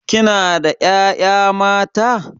Kina da ƴaƴa mata?